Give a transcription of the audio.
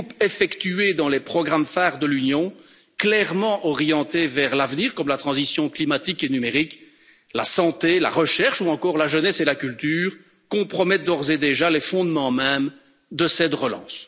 Les coupes effectuées dans les programmes phares de l'Union, clairement orientés vers l'avenir, comme la transition climatique et numérique, la santé, la recherche ou encore la jeunesse et la culture, compromettent d'ores et déjà les fondements mêmes de cette relance.